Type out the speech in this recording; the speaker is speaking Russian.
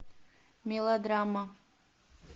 мелодрама